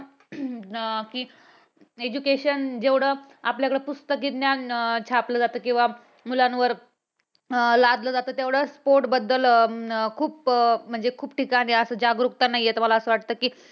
अह कि education जेवढं आपल्याकडे पुस्तकी ज्ञान छापलं जातं किंवा मुलांवर अं लादलं जातं तेवढं sport बद्दल खूप म्हणजे खूप ठिकाणी जागरूकता नाही येत मला असं वाटतं की